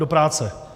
Do práce.